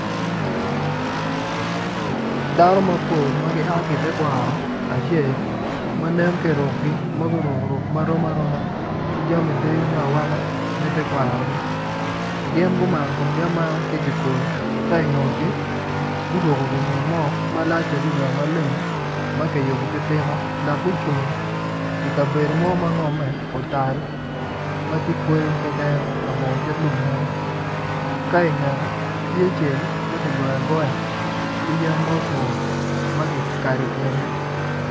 Dano mapol ma gia ki itekwaro acel manen ki irukgi ma gurku ruku ma rom aroma ki jami dyeyo me awaka me tekwarogi gin gumano kumgi amana ki ki koyo ka ingutgi guruku gi ngut mo malac adida maleng ma kiyubu ki tigo dok gucung i kabedo mo ma ngome otal ma ti kweyo keken labongo kit lum mo ka ingete tye cel ma kigoyo agoya ki yen ma otwo ma kikado kingi